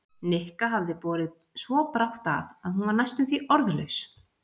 Nikka hafði borið svo brátt að að hún var næstum því orðlaus.